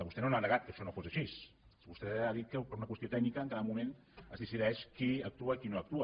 vostè no ha negat que això no fos així vostè ha dit que per una qüestió tècnica en cada moment es decideix qui actua i qui no actua